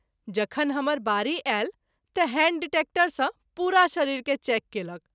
जखन हमर बारी आयल त’ हैण्ड डिटेक्टर सँ पुरा शरीर के चेक कएलक।